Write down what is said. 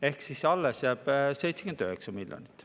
Ehk siis alles jääb 79 miljonit.